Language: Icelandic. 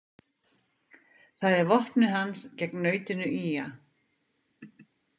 Það er vopnið hans gegn nautinu ýga.